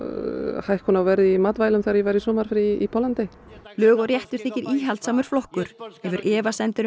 hækkun á verði á matvælum þegar ég var í sumarfríi í Póllandi lög og réttur þykir íhaldssamur flokkur hefur efasemdir um